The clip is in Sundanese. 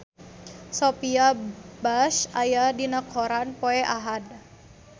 Sophia Bush aya dina koran poe Ahad